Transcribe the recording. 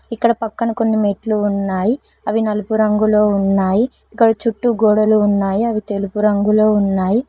ఇక్కడ పక్కన కొన్ని మెట్లు ఉన్నాయి అవి నలుపు రంగులో ఉన్నాయి ఇక్కడ చుట్టూ గోడలు ఉన్నాయి అవి తెలుపు రంగులో ఉన్నాయి.